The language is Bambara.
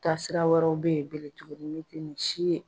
Taasira wɛrɛw bɛ ye bele tuguni min tɛ nin si ye.